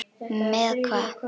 Með hvað?